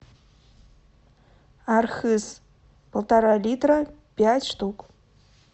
архыз полтора литра пять штук